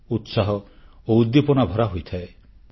ଉତ୍ସାହ ଓ ଉଦ୍ଦୀପନା ଭରା ହୋଇଥାଏ